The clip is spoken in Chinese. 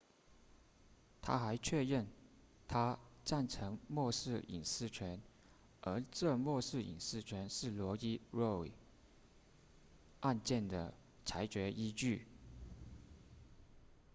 他还确认他赞成默示隐私权而这默示隐私权是罗伊 roe 案件的裁决依据